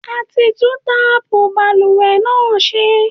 A ti tún táàpù balùwẹ̀ náà ṣe.